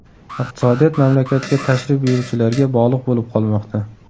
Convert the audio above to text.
Iqtisodiyot mamlakatga tashrif buyuruvchilarga bog‘liq bo‘lib qolmoqda.